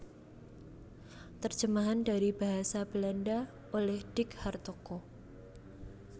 Terjemahan dari basa Belanda oleh Dick Hartoko